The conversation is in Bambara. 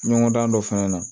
Ɲɔgɔndan dɔ fɛnɛ na